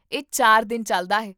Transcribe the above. ਇਹ ਚਾਰ ਦਿਨ ਚੱਲਦਾ ਹੈ